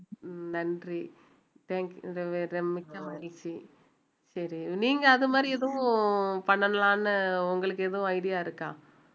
நன்றி thank you மிக்க மகிழ்ச்சி சரி நீங்க அது மாதிரி எதுவும் பண்ணலாம்னு உங்களுக்கு எதுவும் idea இருக்கா